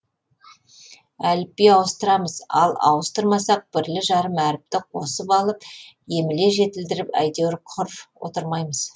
әліпби ауыстырамыз ал ауыстырмасақ бірлі жарым әріпті қосып алып емле жетілдіріп әйтеуір құр отырмаймыз